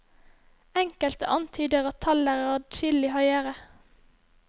Enkelte antyder at tallet er adskillig høyere.